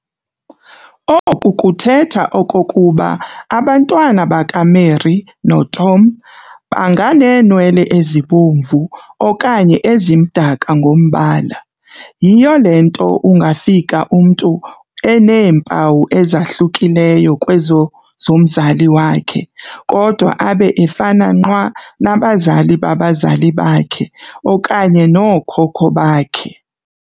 Oku kuthetha okokuba abantwana bakaMary noTom banganeenwele ezibomvu okanye ezimdaka ngombala. Yhiyo le nto ungafika umntu eneempawu ezahlukileyo kwezo zomzali wakhe, kodwa abe efana nqwa nabazali babazali bakhe okanye nookhokho bakhe.